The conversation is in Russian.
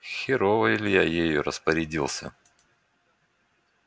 херово илья ею распорядился